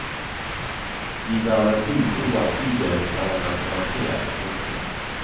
De bærer bud om at bydelen forandrer karakter. punktum